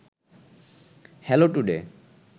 hello today